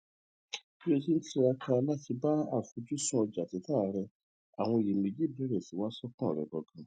bí ó ti ń tiraka láti ba àfojúsùn ọjà tita rẹ àwọn iyèméjì bẹrẹ si i wa sọkan rẹ ganan